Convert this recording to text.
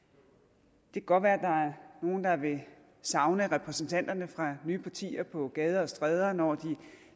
det kan godt være at nogle der vil savne repræsentanterne fra nye partier på gader og stræder når de